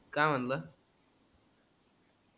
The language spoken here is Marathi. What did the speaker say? का मनल